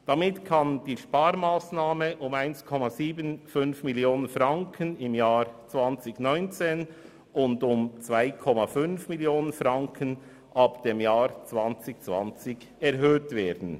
Damit kann die Sparmassnahme um 1,75 Mio. Franken im Jahr 2019 und um 2,5 Mio. Franken ab 2020 erhöht werden.